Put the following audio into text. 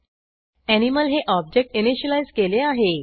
animal हे object initialise केले आहे